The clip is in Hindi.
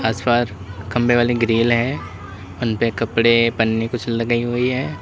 आसपास खंभे वाली ग्रिल है उन पे कपड़े पन्नी कुछ लगी हुई है।